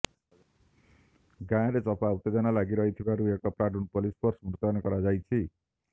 ଗାଁରେ ଚାପା ଉତ୍ତେଜନା ଲାଗିରହିଥିବାରୁ ଏକ ପ୍ଲାଟୁନ ପୋଲିସ ଫୋର୍ସ ମୁତୟନ କରାଯାଇଛି